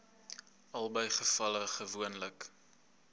albei gevalle gewoonlik